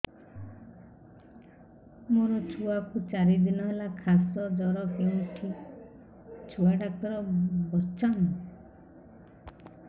ମୋ ଛୁଆ କୁ ଚାରି ଦିନ ହେଲା ଖାସ ଜର କେଉଁଠି ଛୁଆ ଡାକ୍ତର ଵସ୍ଛନ୍